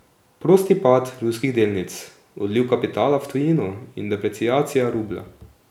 Prosti pad ruskih delnic, odliv kapitala v tujino in depreciacija rublja.